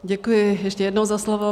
Děkuji ještě jednou za slovo.